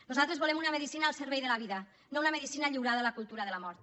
nosaltres volem una medicina al servei de la vida no una medicina lliurada a la cultura de la mort